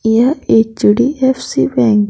यह HDFC bank --